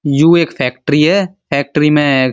You एक factory है। Factory में --